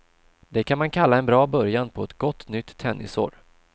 Det kan man kalla en bra början på ett gott nytt tennisår.